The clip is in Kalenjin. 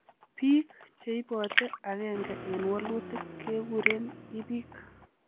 Biik cheibote agenge en wolutik keguren ibik.